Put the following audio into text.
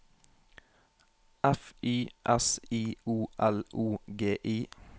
F Y S I O L O G I